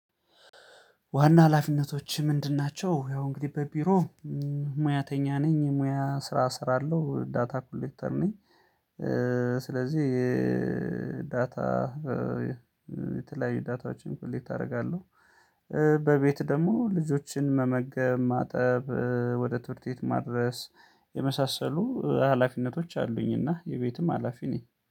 ዋና ሀላፊነቶችህ ምንድን ናቸው? ያው እንግዲህ በቢሮ ሙያተኛ ነኝ። ሙያ ስራ እሰራለሁ አለው። ዳታ ኮሌክተር ነኝ። ስለዚህ የዳታ የተለያዩ ዳታዎችን ኮሌት አደርጋለሁ። በቤት ደግሞ ልጆችን መመገብ፣ ማጠብ፣ ወደ ትምህርት ቤት ማድረስ የመሳሰሉ ሀላፊነቶች አሉኝ እና የቤትም ሀላፊ ነኝ።